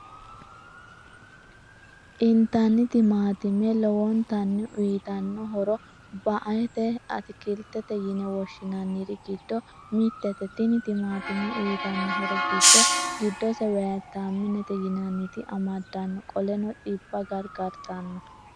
Initani timaatime lowonitanni uyiitano horro ba'ete atikilitete yine woshinanniri giddo mittete tini timaatime uyiitano horro giddo gidose Viyitaminete yinannita amadano qoleno xibba garigaritanno.